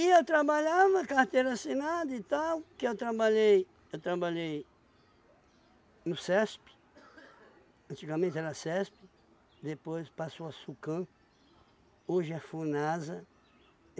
E eu trabalhava, carteira assinada e tal, que eu trabalhei eu trabalhei no SESP, antigamente era SESP, depois passou a SUCAM, hoje é FUNASA.